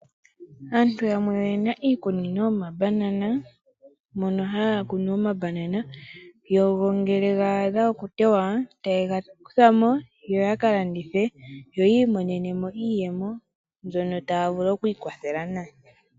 Aantu yamwe oye na iikunino yomabanana moka haya kunu mo omabanana. Ngele ga adha okutewa, oha ye ga kutha mo yo taya ka landitha opo yi imonene mo iiyemo mbyoka taya vulu okwiikwathela nayo.